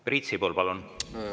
Priit Sibul, palun!